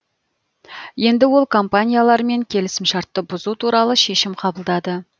енді ол компаниялармен келісімшартты бұзу туралы шешім қабылдады